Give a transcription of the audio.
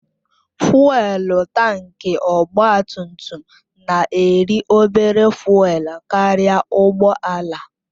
Fụ́élú tankị ọgba tum tum na-eri obere fụ́élú karịa ụgbọ ala